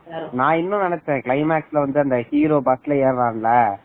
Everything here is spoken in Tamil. நான் இன்னும் நினைச்சேன் கிளைமாக்ஸ் லவ் வந்து அந்த ஹீரோ bus ல எரன்ல